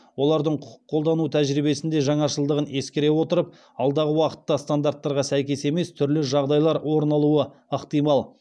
олардың құқық қолдану тәжірибесінде жаңашылдығын ескере отырып алдағы уақытта стандартқа сәйкес емес түрлі жағдайлар орын алуы ықтимал